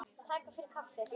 Takk fyrir kaffið.